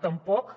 tampoc